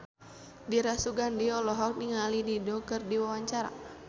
Dira Sugandi olohok ningali Dido keur diwawancara